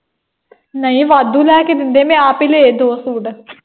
ਨਹੀਂ, ਵਾਧੂ ਲੈ ਕੇ ਦਿੰਦੇ ਮੈਂ ਆਪ ਹੀ ਲਏ ਦੋ ਸੂਟ।